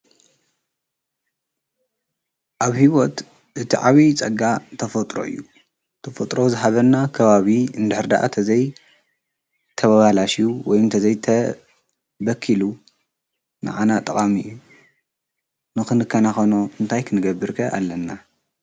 ኣብሕይወት እቲ ዓብዪ ጸጋ ተፎጥሮ እዩ ተፎጥሮ ዝሃበና ከባብ እንድኅሪደኣ ተ ዘይ ተበባሃላሽ ወይምተ ዘይተበኪሉ ንኣና ጠቓሚእዩ ንኽን ከናኾኖ እንታይክንገብርከ ኣለና